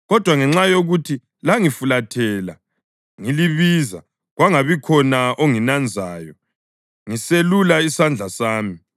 Kodwa ngenxa yokuthi langifulathela ngilibiza, kwangabi khona onginanzayo ngiselula isandla sami,